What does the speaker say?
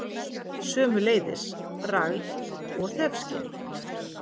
Sömuleiðis bragð- og þefskyn.